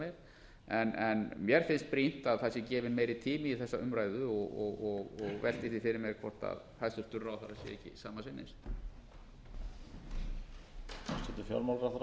síðar meir en mér finnst brýnt að það sé gefinn meiri tími í þessa umræðu og velti því fyrir mér hvort hæstvirtur ráðherra sé ekki sama sinnis